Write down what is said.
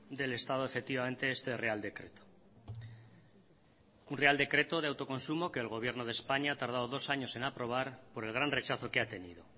del estado efectivamente este real decreto un real decreto de autoconsumo que el gobierno de españa ha tardado dos años en aprobar por el gran rechazo que ha tenido